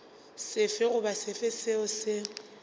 sefe goba sefe seo se